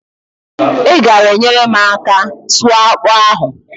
I gaara enyere m aka sụọ akpụ ahụ?